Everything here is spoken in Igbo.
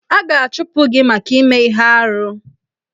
A ga-achụpụ gị maka ime ihe arụ.